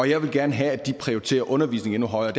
jeg vil gerne have at de prioriterer undervisning endnu højere